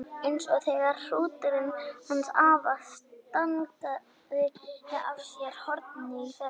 Eins og þegar hrúturinn hans afa stangaði af sér hornið í fyrra.